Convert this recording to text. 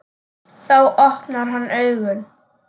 Þá opnar hann augun.